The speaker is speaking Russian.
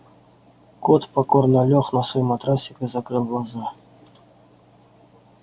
кот покорно лёг на свой матрасик и закрыл глаза